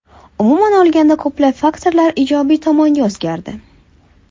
Umuman olganda ko‘plab faktorlar ijobiy tomonga o‘zgardi.